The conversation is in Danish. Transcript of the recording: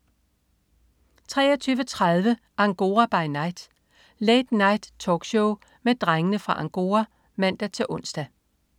23.30 Angora by Night. Late Night-talkshow med Drengene fra Angora (man-ons)